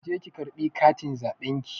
Ki je ki ƙarɓi katin zaɓen ki.